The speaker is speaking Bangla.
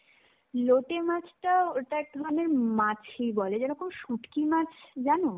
লোটে মাছটা ওটা একধরনের মাছই বলে. যেরকম শুটকি মাছ জানো?